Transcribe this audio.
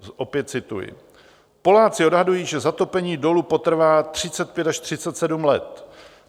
Opět cituji: Poláci odhadují, že zatopení dolu potrvá 35 až 37 let.